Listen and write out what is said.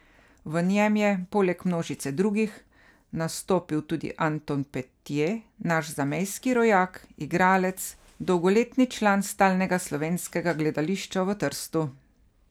V njem je, poleg množice drugih, nastopil tudi Anton Petje, naš zamejski rojak, igralec, dolgoletni član Stalnega slovenskega gledališča v Trstu.